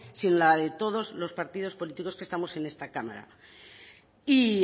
sino la de todos los partidos políticos que estamos en esta cámara y